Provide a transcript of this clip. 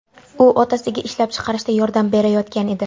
U otasiga ishlab chiqarishda yordam berayotgan edi.